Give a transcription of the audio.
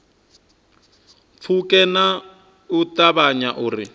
pfuke nga u ṱavhanya uri